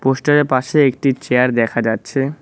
Poster -এর পাশে একটি চেয়ার দেখা যাচ্ছে।